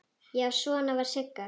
Já, svona var Sigga!